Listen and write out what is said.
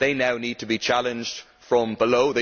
They now need to be challenged from below.